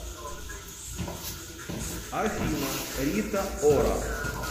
афина рита ора